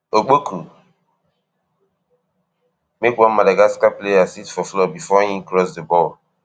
opoku make one madagascar player sit for floor bifor im cross di ball